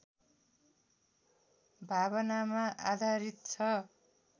भावनामा आधारित छ